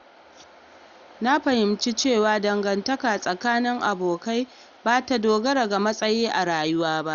Na fahimci cewa dangantaka tsakanin abokai ba ta dogara ga matsayinsu a rayuwa ba.